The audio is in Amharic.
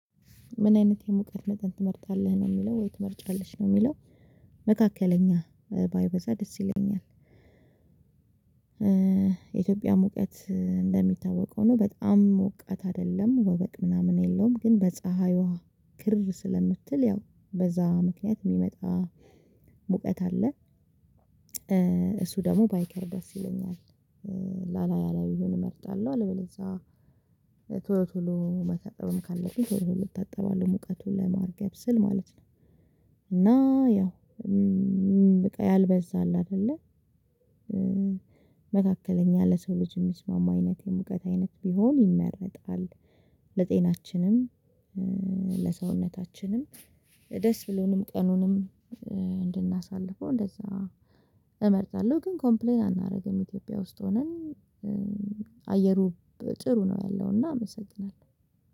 ምን አይነት የሙቀት መጠን ትመርጣለህ ነው የሚለው ወይ ትመርጫለሽ ነው የሚለው? መካከለኛ ባይበዛ ደስ ይለኛል። የኢትዮጵያ ሙቀት እንደሚታወቀው ነው በጣም ሙቀት አይደለም ወበቅ ምናምን የለውም ግን በፀሀዩዋ ክር ስለምትል ያው በዛ ምክንያት የሚመጣ ሙቀት አለ። እሱ ደግሞ ባይከር ደስ ይለኛል። ላላላላ ያላየውን እመርጣለሁ አለበለዛ ቶሎ ቶሎ መታጠብም ካለብኝ ቶሎ ቶሎ እታጠባለሁ ሙቀቱን ለማርገብ ስል ማለት ነው። እና ያው በቃ ያልበዛ አለ አደለ። መካከለኛ ለሰው ልጅ የሚስማማ አይነት የሙቀት አይነት ቢሆን ይመረጣል። ለጤናችንም ለሰውነታችንም ደስ ብሎንም ቀኑንም እንድናሳልፈው እንደዛ እመርጣለሁ። ግን ኮምፕሌን አናደርግም ኢትዮጵያ ውስጥ ሆነን አየሩ ጥሩ ነው ያለውና አመሰግናለሁ